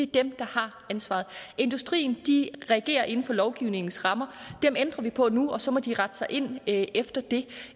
dem der har ansvaret industrien reagerer inden for lovgivningens rammer dem ændrer vi på nu og så må de rette sig ind ind efter det